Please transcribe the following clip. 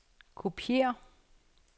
kopiér